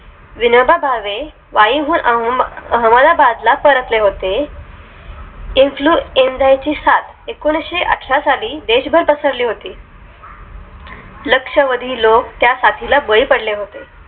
विनोबा भावे वाई वरून अहेमदाबाद ला परतले होते influenser ची सात एकोणीशेअठरा साली देशभर पसरली होती लक्षावधी लोक त्या साथी ला बळी पडले होते